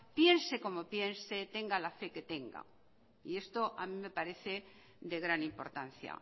piense como piensa tenga la fe que tenga y esto a mi me parece de gran importancia